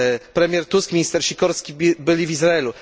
Premier Tusk i minister Sikorski byli w Izraelu.